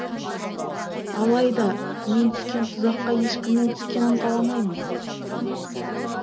алайда мен түскен тұзаққа ешкімнің түскенің қаламаймын